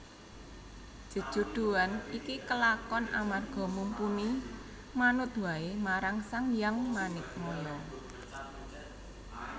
Jejodhoan iki kelakon amarga Mumpuni manut waé marang Sanghyang Manikmaya